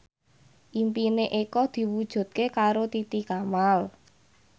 impine Eko diwujudke karo Titi Kamal